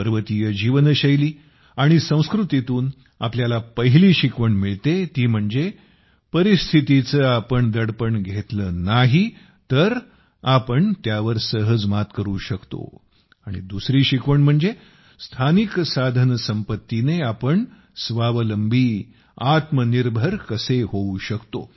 पर्वतीय जीवनशैली आणि संस्कृतीतून आपल्याला पहिली शिकवण मिळते ती म्हणजे परिस्थितीचे आपण दडपण घेतले नाही तर आपण त्यावर सहज मात करू शकतो आणि दुसरी शिकवण म्हणजे स्थानिक साधनसंपत्तीने आपण आत्मनिर्भर कसे होऊ शकतो